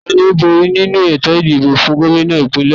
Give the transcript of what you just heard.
Tani ó bóri nínu ètò ìdìbò fún Gómìnà ìpínlẹ̀ re?